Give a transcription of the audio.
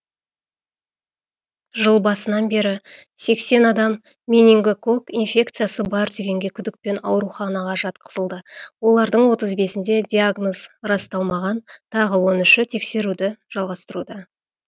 жыл басынан бері сексен адам менингококк инфекциясы бар деген күдікпен ауруханаға жатқызылды олардың отыз бесінде диагноз расталмаған тағы он үші тексеруді жалғастыруда